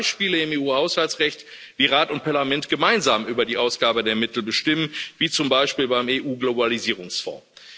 Wir haben Beispiele im EU-Haushaltsrecht, wie Rat und Parlament gemeinsam über die Ausgabe der Mittel bestimmen, wie zum Beispiel beim EU Globalisierungsfonds.